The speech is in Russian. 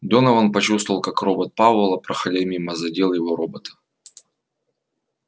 донован почувствовал как робот пауэлла проходя мимо задел его робота